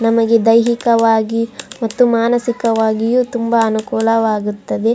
ನಮಗೆ ದೈಹಿಕ ವಾಗಿ ಮತ್ತು ಮಾನಸಿಕ ವಾಗಿ ತುಂಬ ಅನುಕೂಲ ವಾಗಿರುತ್ತದೆ.